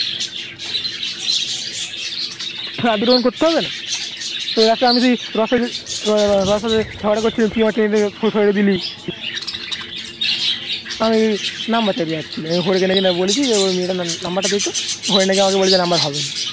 করতে হবেনা তো আমি যদি ঝগড়া করছিলাম তুই আমায় টেনে টেনে সরিয়ে দিলি আমি Number চাইতে যাচ্ছিলাম হরি কে নাকি বলছি মেয়েটার Number টা দেতো হরি নাকি আমাকে বলছে Number হবেনা